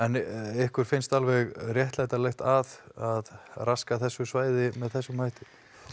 ykkur finnst alveg réttlætanlegt að raska þessu svæði með þessum hætti